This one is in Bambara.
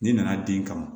N'i nana den kama